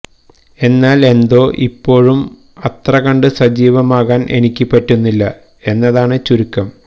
എന്നാൽ എന്തോ ഇപ്പോഴും അത്രകണ്ട് സജീവമാക്കാൻ എനിക്ക് പറ്റുന്നില്ല എന്നതാണ് ചുരുക്കം